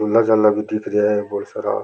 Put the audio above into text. झूला झाला भी दिख रिया है बहुत सारा।